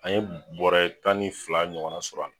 An ye bɔrɛ tan ni fila ɲɔgɔnna sɔr'a la